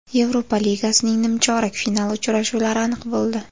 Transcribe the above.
Yevropa ligasining nimchorak finali uchrashuvlari aniq bo‘ldi.